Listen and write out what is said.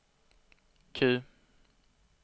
Q